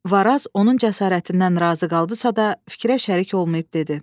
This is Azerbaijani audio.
Varaz onun cəsarətindən razı qaldısa da, fikrə şərik olmayıb dedi: